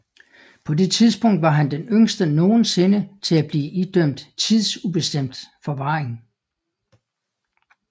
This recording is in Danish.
På det tidspunkt var han den yngste nogensinde til at blive idømt tidsubestemt forvaring